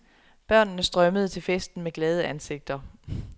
Børnene strømmede til festen med glade ansigter.